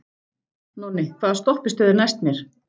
Nonni, hvaða stoppistöð er næst mér?